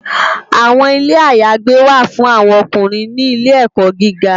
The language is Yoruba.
Awòn Ilé àyágbé wá fún áwòn òkúnrín ni ilé èkò gìgá